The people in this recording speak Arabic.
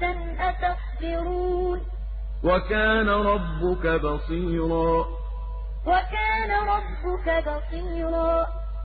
قَبْلَكَ مِنَ الْمُرْسَلِينَ إِلَّا إِنَّهُمْ لَيَأْكُلُونَ الطَّعَامَ وَيَمْشُونَ فِي الْأَسْوَاقِ ۗ وَجَعَلْنَا بَعْضَكُمْ لِبَعْضٍ فِتْنَةً أَتَصْبِرُونَ ۗ وَكَانَ رَبُّكَ بَصِيرًا